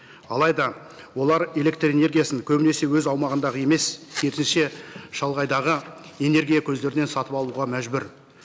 алайда олар электрэнергиясын көбінесе өз аумағындағы емес керісінше шалғайдағы энергия көздерінен сатып алуға мәжбүр